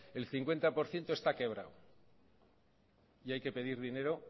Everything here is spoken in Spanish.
el cincuenta por ciento está quebrado y hay que pedir dinero